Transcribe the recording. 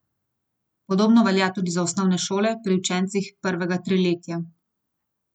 Podobno velja tudi za osnovne šole pri učencih prvega triletja.